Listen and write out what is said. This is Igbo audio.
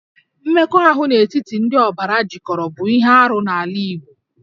Mmekọahụ n'etiti ndị ọbara jikọrọ bụ ihe arụ n'ala Igbo